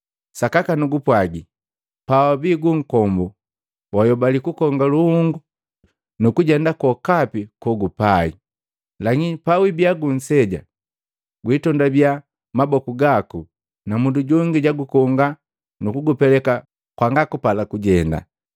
Sakaka nugupwagi, pawabii gunkombu wayobali kukonga luhunga nukujenda kwokapi kogupai. Lakini pawibiya gunseja gwitondabia maboku gaku, na mundu jongi jagukonga nukugupeleka kwanga kupala kujenda.